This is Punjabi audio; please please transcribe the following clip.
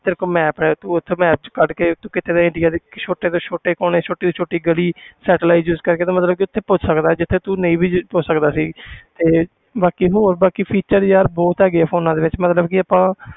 ਤੇਰੇ ਕੋਲ map ਹੈ ਤੂੰ ਉੱਥੇ map 'ਚ ਕੱਢ ਕੇ ਤੂੰ ਕਿਤੇ ਇੰਡੀਆ ਦੇ ਛੋਟੇ ਤੋਂ ਛੋਟੇ ਕੋਨੇ ਛੋਟੀ ਤੋਂ ਛੋਟੀ ਗਲੀ satellite use ਕਰਕੇ ਤੂੰ ਮਤਲਬ ਕਿ ਉੱਥੇ ਪਹੁੰਚ ਸਕਦਾ ਜਿੱਥੇ ਤੂੰ ਨਹੀਂ ਵੀ ਜੇ ਪਹੁੰਚ ਸਕਦਾ ਸੀ ਤੇ ਬਾਕੀ ਹੋਰ ਬਾਕੀ feature ਯਾਰ ਬਹੁਤ ਹੈਗੇ ਆ phones ਦੇ ਵਿੱਚ ਮਤਲਬ ਕਿ ਆਪਾਂ